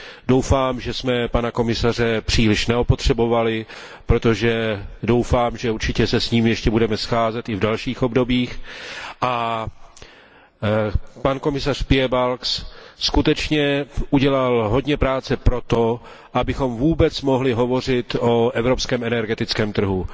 Doufám, že jsme pana komisaře příliš neopotřebovali, protože věřím, že se s ním určitě budeme scházet i v dalších obdobích, a pan komisař Piebalgs skutečně udělal hodně práce pro to, abychom vůbec mohli hovořit o evropském energetickém trhu.